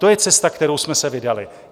To je cesta, kterou jsme se vydali.